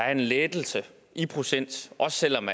er en lettelse i procent også selv om